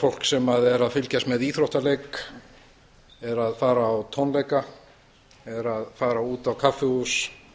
fólk sem er að fylgjast með íþróttaleik er að fara á tónleika er að fara út á kaffihús